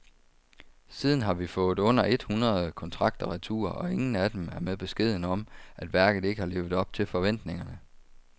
Siden har vi fået under et hundrede kontrakter retur, og ingen af dem er med beskeden om, at værket ikke har levet op til forventningerne.